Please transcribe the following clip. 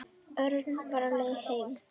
Örn var á leið heim.